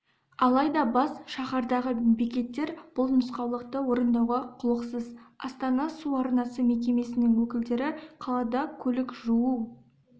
алайда бас шаһардағы бекеттер бұл нұсқаулықты орындауға құлықсыз астана су арнасы мекемесінің өкілдері қалада көлік жуу